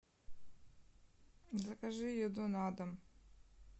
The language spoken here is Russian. закажи еду на дом